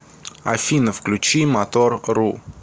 афина включи мотор ру